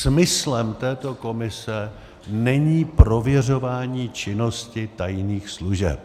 Smyslem této komise není prověřování činnosti tajných služeb.